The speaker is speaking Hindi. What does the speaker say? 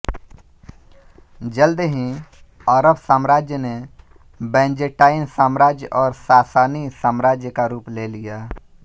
जल्द ही अरब साम्राज्य ने बैजेंटाइन साम्राज्य और सासानी साम्राज्य का रूप ले लिया